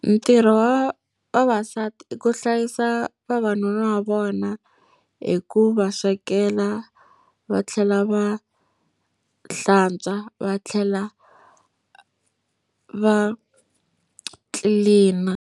Ntirho wa vavasati i ku hlayisa vavanuna va vona hi ku va swekela, va tlhela va hlantswa, va tlhela va clean-a.